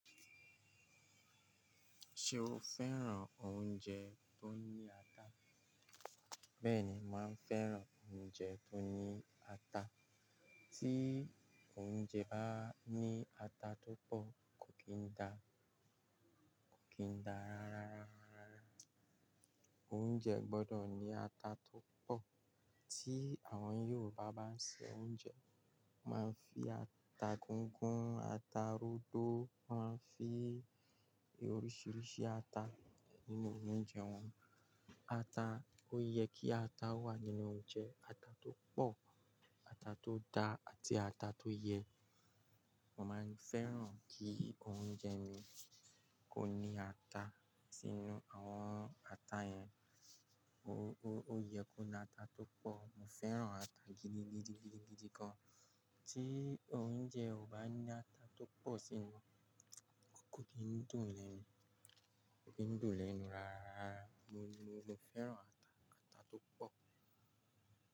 Ṣé o fẹ́ràn oúnjẹ tó ní ata? Bẹ́ẹ̀ni, màá fẹ́ràn oúnjẹ tó ní ata. Tí oúnjẹ bá ní ata tó pọ̀ kò kí n dá, kò kí n dá rárá. Oúnjẹ gbọdọ̀ ní ata tó pọ̀. Tí àwọn Yorùbá bá ń sè oúnjẹ, wọ́n máa ń fi ata gígún, ata rodo, wọ́n máa ń fi oríṣiríṣi ata nínú oúnjẹ wọn. Ata, ó ye kí ata wà nínú oúnjẹ. Ata tó pọ̀, ata tó da, àti ata tó yẹ. Mo máa ń fẹ́ràn kí oúnjẹ mi kó ní ata sínú. Àwọn ata yẹn, ó ó ye kó ní ata tó pọ̀. Mo fẹ́ràn ata gidigidi kan. Tí oúnjẹ ò bá ní ata tó pọ̀ sínú, kò kí ń dùn lẹ́nu, kò kí ń dùn lẹ́nu rárá. Mo mo fẹ́ràn ata, ata tó pọ̀